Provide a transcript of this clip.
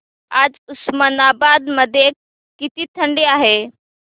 आज उस्मानाबाद मध्ये किती थंडी आहे